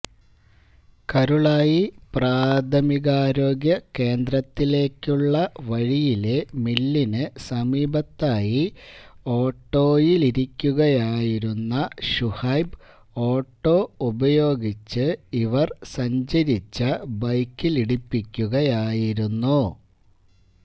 കരുളായി പ്രാഥമികാരോഗ്യ കേന്ദ്രത്തിലേക്കുള്ള വഴിയിലെ മില്ലിന് സമീപത്തായി ഓട്ടോയിലിരിക്കുകയായിരുന്ന ഷുഹൈബ് ഓട്ടോ ഉപയോഗിച്ച് ഇവര് സഞ്ചരിച്ച ബൈക്കിലിടിപ്പിക്കുകയായിരുന്നു